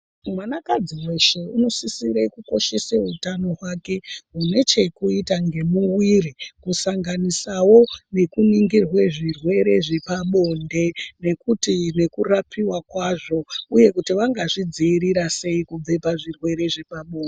Mwanakadzi weshe unosisire kukoshe utano hwake unechekuita nemuwiri kusanganisawo nekuningirwe zvirwere zvepabonde nekuti nekurapira kwazvo uye kuti vangazvidzirira sei kubve pa, zvirwere zvepabonde.